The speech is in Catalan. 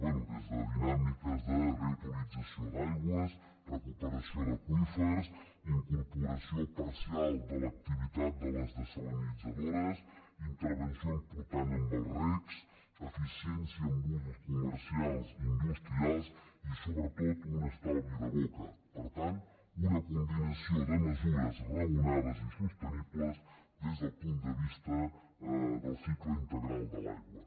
bé des de dinàmiques de reutilització d’aigües recuperació d’aqüífers incorporació parcial de l’activitat de les dessalinitzadores intervenció important en els recs eficiència en usos comercials i industrials i sobretot un estalvi de boca per tant una combinació de mesures raonades i sostenibles des del punt de vista del cicle integral de l’aigua